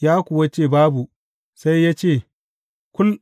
Ya kuwa ce, Babu, sai yă ce, Kul!